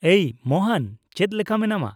-ᱮᱭ ᱢᱳᱦᱚᱱ, ᱪᱮᱫ ᱞᱮᱠᱟ ᱢᱮᱱᱟᱢᱟ ?